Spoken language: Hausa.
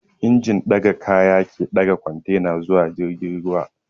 Injin ɗaga kaya ke ɗaga kwantena zuwa jirgin ruwa